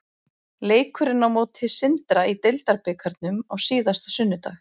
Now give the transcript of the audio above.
Leikurinn á móti Sindra í deildarbikarnum á síðasta sunnudag.